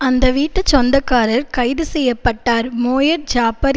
அந்த வீட்டு சொந்தக்காரர் கைது செய்ய பட்டார் மோயர்ட் ஜாப்பர்